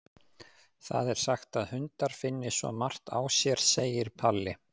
Það er sagt að hundar finni svo margt á sér, segir Palli.